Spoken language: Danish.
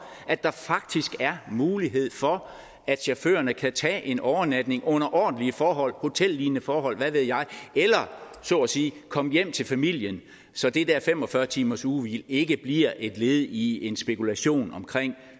at der faktisk er mulighed for at chaufførerne kan tage en overnatning under ordentlige forhold hotellignende forhold eller hvad ved jeg eller så at sige komme hjem til familien så det der fem og fyrre timersugehvil ikke bliver et led i en spekulation omkring